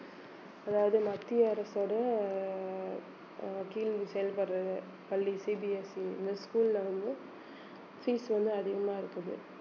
அதாவது மத்திய அரசோட அஹ் கீழ் செயல்படறது பள்ளி CBSE இந்த school ல வந்து fees வந்து அதிகமா இருக்குது